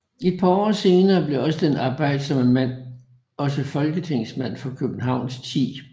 Et par år senere blev den arbejdsomme mand også Folketingsmand for Københavns 10